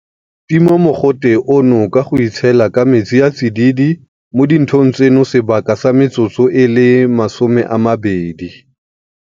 Tima mogote ono ka go itshela ka metsi a a tsididi mo dinthong tseno sebaka sa metsotso e le 20.